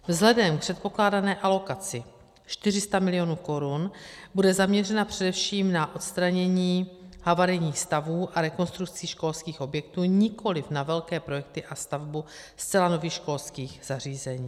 Vzhledem k předpokládané alokaci 400 mil. korun bude zaměřena především na odstranění havarijních stavů a rekonstrukci školských objektů, nikoliv na velké projekty a stavbu zcela nových školských zařízení.